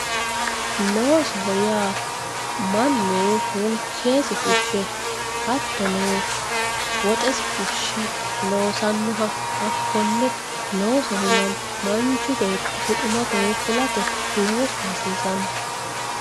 Loosoho yaa mannu hunkesi fushe hattono woxesi fushe loossanoha hakkonne loosoho yinanni manchu beetti buximate fulate loosu hasiisano.